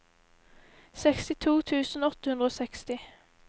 sekstito tusen åtte hundre og seksti